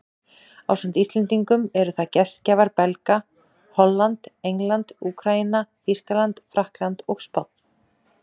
Ásamt Íslendingum eru það gestgjafar Belga, Holland, England, Úkraína, Þýskaland, Frakkland og Spánn.